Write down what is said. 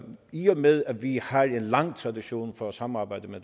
i og med at vi har en lang tradition for at samarbejde med